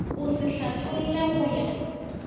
o se hlatholle go ya